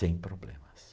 Sem problemas.